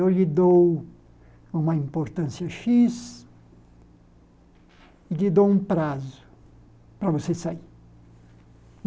Eu lhe dou uma importância Xis e lhe dou um prazo para você sair.